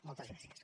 moltes gràcies